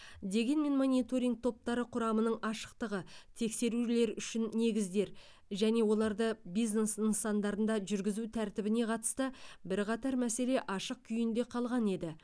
дегенмен мониторинг топтары құрамының ашықтығы тексерулер үшін негіздер және оларды бизнес нысандарында жүргізу тәртібіне қатысты бірқатар мәселе ашық күйінде қалған еді